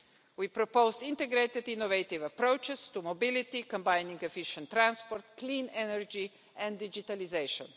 We propose integrated, innovative approaches to mobility, combining efficient transport, clean energy and digitalisation.